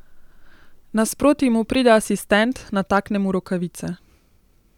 Nasproti mu pride asistent, natakne mu rokavice.